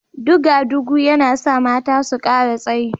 Duga-dugu yana sa mata su kara tsayi